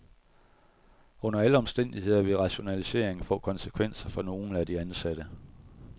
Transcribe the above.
Under alle omstændigheder vil rationaliseringen få konsekvenser for nogle af de ansatte.